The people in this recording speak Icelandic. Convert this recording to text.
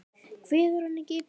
Kveður hann ekki.